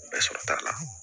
Bɛɛ sɔrɔ t'a la